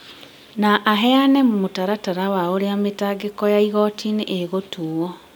na aheane mũtaratara wa ũrĩa mĩtangĩko ya igooti ĩgũtuo.